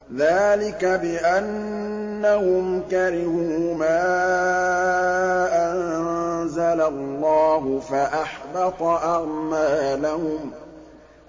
ذَٰلِكَ بِأَنَّهُمْ كَرِهُوا مَا أَنزَلَ اللَّهُ فَأَحْبَطَ أَعْمَالَهُمْ